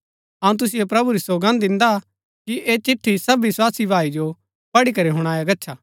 अऊँ तुसिओ प्रभु री सौगन्द दिन्दा कि ऐह चिट्ठी सब विस्वासी भाई जो पढ़ी करी हुणाया गच्छा